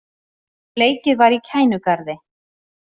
Leikið var í Kænugarði